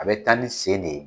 A bɛ tan ni sen de ye